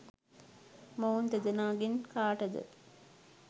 මොවුන් දෙදෙනාගෙන් කාටද